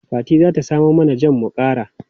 Fati za ta samo mana jam mu kara.